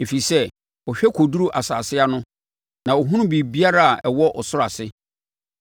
ɛfiri sɛ ɔhwɛ kɔduru nsase ano na ɔhunu biribiara a ɛwɔ ɔsoro ase.